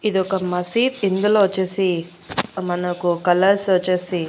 ఇదొక మసీద్ ఇందులో వచ్చేసి మనకు కలర్స్ వచ్చేసి--